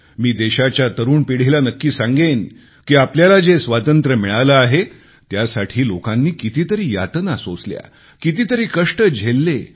मी देशाच्या तरुण पिढीला नक्की सांगेन की आपल्याला जे स्वातंत्र्य मिळाले आहे त्यासाठी लोकांनी कितीतरी यातना सोसल्या कितीतरी कष्ट झेलले